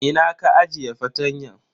Ina ka ajiye fartanyan?